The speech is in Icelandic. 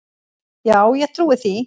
Já, ég trúi því